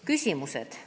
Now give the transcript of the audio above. Küsimused.